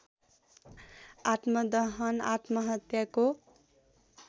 आत्मदहन आत्महत्याको